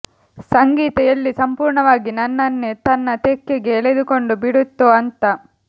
ಸಂಗೀತ ಎಲ್ಲಿ ಸಂಪೂರ್ಣವಾಗಿ ನನ್ನನ್ನೇ ತನ್ನ ತೆಕ್ಕೆಗೆ ಎಳೆದುಕೊಂಡು ಬಿಡುತ್ತೋ ಅಂತ